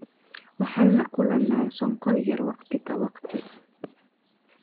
Waxaan la kulannaa sonkor yaraan waqti ka waqti.